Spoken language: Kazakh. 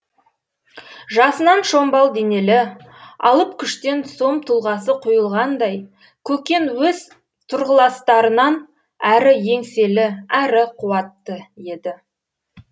жасынан шомбал денелі алып күштен сом тұлғасы құйылғандай көкен өз тұрғыластарынан әрі еңселі әрі қуатты еді